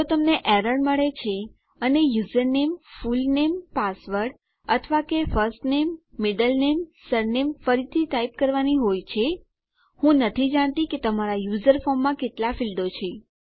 જો તમને એરર મળે છે અને યુઝરનેમ ફૂલનેમ પાસવર્ડ અથવા કે ફર્સ્ટનેમ પ્રથમ નામ મિડલ નેમ મધ્ય નામ સરનેમ અટક ફરીથી ટાઈપ કરવાની હોય હું નથી જાણતી કે તમારા યુઝર ફોર્મમાં કેટલા ફીલ્ડો છે